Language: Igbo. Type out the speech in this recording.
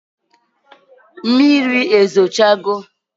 Mmiri ezo cha go?